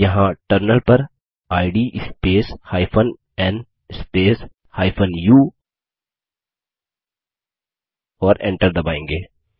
यहाँ टर्मिनल पर id space n space u और Enter दबायेंगे